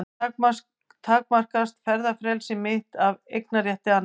Hér takmarkast ferðafrelsi mitt af eignarétti annars.